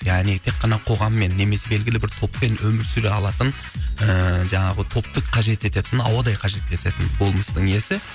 яғни тек қана қоғаммен немесе белгілі бір топпен өмір сүре алатын ііі жаңағы топты қажет ететін ауадай қажет ететін болмыстың иесі